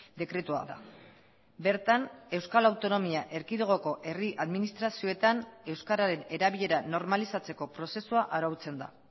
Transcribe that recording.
dekretua da bertan euskal autonomia erkidegoko herri administrazioetan euskararen erabilera normalizatzeko prozesua arautzen da